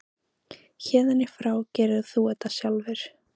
Héðan í frá gerir þú þetta sjálfur.